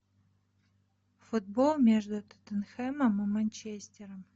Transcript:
футбол между тоттенхэмом и манчестером